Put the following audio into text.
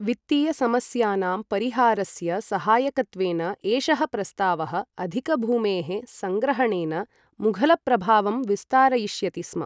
वित्तीयसमस्यानां परिहारस्य सहायकत्वेन एषः प्रस्तावः, अधिकभूमेः सङ्ग्रहणेन मुघलप्रभावं विस्तारयिष्यति स्म।